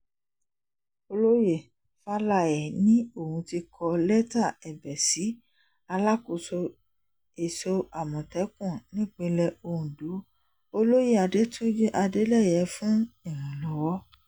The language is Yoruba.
olóyè faláé ni òun ti kọ lẹ́tà ẹ̀bẹ̀ sí alákòóso èso àmọ̀tẹ́kùn nípìnlẹ̀ ọ̀dọ́ olóyè adẹ́túnjì adeleye fún ìrànlọ́wọ́